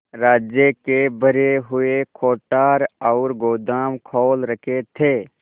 राज्य के भरे हुए कोठार और गोदाम खोल रखे थे